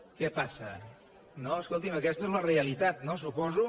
què passa escoltin aquesta és la realitat no suposo